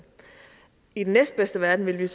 i den næstbedste verden ville